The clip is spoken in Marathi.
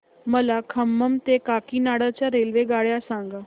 मला खम्मम ते काकीनाडा च्या रेल्वेगाड्या सांगा